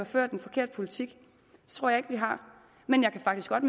ført en forkert politik det tror jeg ikke vi har men jeg kan faktisk godt